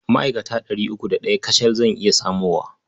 Ma'akata ɗari uku da ɗaya kacal zan iya samowa.